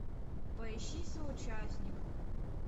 поищи соучастник